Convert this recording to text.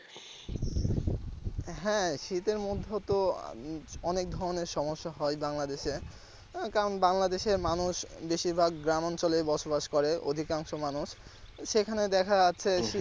হ্যাঁ শীতের মধ্যে তো অনেক ধরনের সমস্যা হয় বাংলাদেশ কারন বাংলাদেশের মানুষ বেশিরভাগ গ্রাম অঞ্চলে বসবাস করে অধিকাংশ মানুষ সেখানে দেখা আছে।